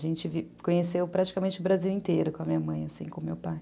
A gente conheceu praticamente o Brasil inteiro com a minha mãe, assim, com o meu pai.